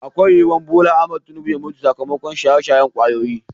Akwai yuwar BOLA AHMED TINUBA ya mutu sakamakon shaye-shayen kwayoyi.